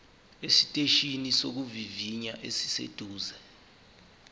esiteshini sokuvivinya esiseduze